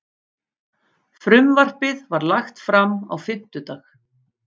Frumvarpið var lagt fram á fimmtudag